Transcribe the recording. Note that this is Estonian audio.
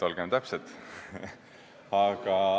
Olgem täpsed.